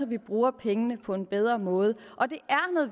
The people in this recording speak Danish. vi bruger pengene på en bedre måde